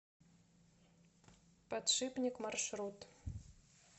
подшипник маршрут